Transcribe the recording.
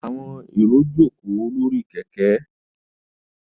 Àwọn èrò jókòó lórí kẹ̀kẹ́.